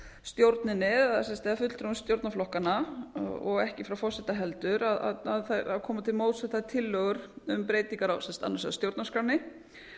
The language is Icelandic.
stjórninni eða fulltrúum stjórnarflokkanna og ekki frá forseta heldur að koma til móts við þær tillögur um breytingar annars vegar á stjórnarskránni